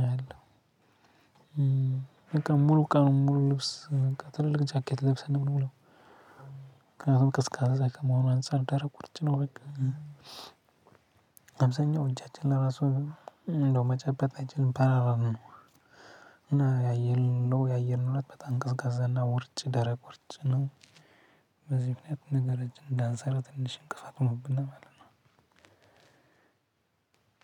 ነው ያለው። ሙሉ ቀኑን ሙሉ ልብስ ትልቅ ጃኬት ለብሰን ነው የምንውለው። ምክንያቱም ቀዝቃዛ ከመሆኑ አንፃር ደረቅ ቁርጭ ነው በቃ አብዛኛው እጃችን ለራሱ እንደው መጨበጥ አይችልም ፓራላይዝ ነው። እና ያየን እንደው ያየን እለት በጣም ቀዝቃዛና ውርጭ ደረቅ ውርጭ ነው። በዚህ ምክንያት ነገር እጅ እንዳንሰራው ትንሽ እንቅስቃሴ ሆኖብና ማለት ነው። አማርኛ